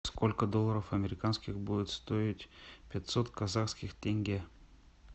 сколько долларов американских будет стоить пятьсот казахских тенге